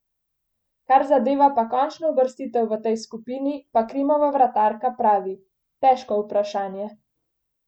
Kar zadeva pa končno uvrstitev v tej skupini, pa Krimova vratarka pravi: "Težko vprašanje.